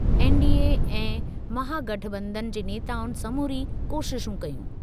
NDA ऐं महागठबंधन जे नेताउनि समूरी कोशिशूं कयूं।